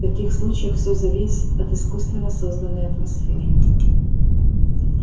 в таких случаях всё зависит от искусственно созданной атмосферы